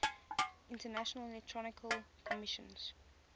international electrotechnical commission